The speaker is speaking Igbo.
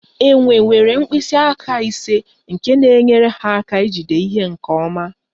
Enwe nwere mkpịsị aka ise nke na-enyere ha aka ijide ihe nke ọma